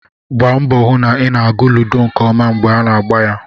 Gbaa mbọ hụ na ị na-agụ ludo nke ọma mgbe a na-agba ya